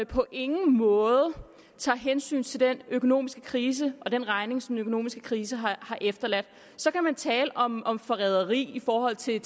på ingen måde tager hensyn til den økonomiske krise og den regning som den økonomiske krise har efterladt så kan man tale om om forræderi i forhold til